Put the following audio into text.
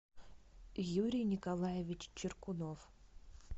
юрий николаевич чиркунов